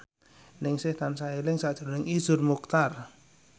Ningsih tansah eling sakjroning Iszur Muchtar